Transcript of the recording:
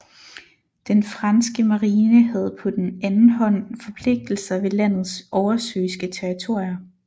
Den franske marine havde på den anden hånd forpligtelser ved landets oversøiske territorier